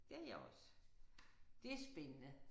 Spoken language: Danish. Det har jeg også. Det er spændende